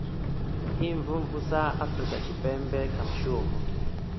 imvumvusa afurika tshipembe kha mushumo